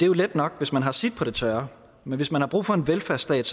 jo let nok hvis man har sit på det tørre men hvis man har brug for en velfærdsstat